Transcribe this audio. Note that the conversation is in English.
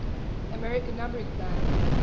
american numbering plan